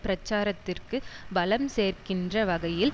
பிரச்சாரத்திற்கு பலம் சேர்க்கின்ற வகையில்